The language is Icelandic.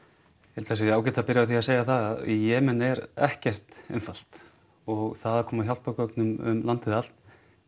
held að það sé ágætt að byrja á því að segja að í Jemen er ekkert einfalt og það að koma hjálpargögnum um landið allt